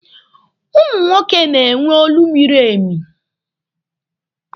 Ụmụ nwoke na-enwe olu miri ime.